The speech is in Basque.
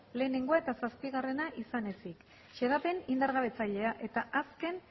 lehenengoa eta zazpigarrena izan ezin xedapen indargabetzailea eta azken